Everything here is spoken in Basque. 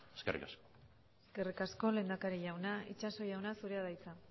eskerrik asko eskerrik asko lehendakari jauna itxaso jauna zurea da hitza